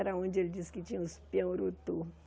Era onde ele disse que tinha os pião urutu.